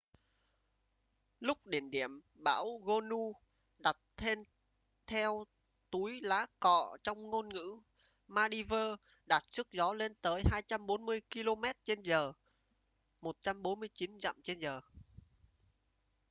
lúc đỉnh điểm bão gonu đặt tên theo túi lá cọ trong ngôn ngữ maldives đạt sức gió lên tới 240 kilomet trên giờ 149 dặm trên giờ